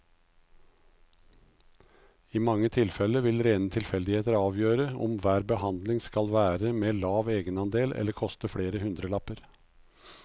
I mange tilfeller vil rene tilfeldigheter avgjøre om hver behandling skal være med lav egenandel eller koste flere hundrelapper.